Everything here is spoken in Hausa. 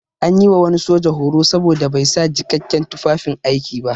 An yi wa wani soja horo saboda bai sa jikakken tufafin aiki ba.